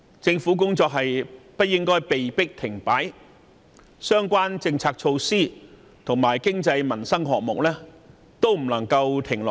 政府的工作不應被迫停擺，相關政策措施及經濟民生項目亦不能停下來。